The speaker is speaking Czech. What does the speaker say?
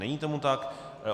Není tomu tak.